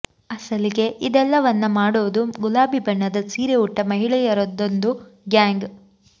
ಅಸಲಿಗೆ ಇದೆಲ್ಲವನ್ನ ಮಾಡೋದು ಗುಲಾಬಿ ಬಣ್ಣದ ಸೀರೆ ಉಟ್ಟ ಮಹಿಳೆಯರದ್ದೊಂದು ಗ್ಯಾಂಗ್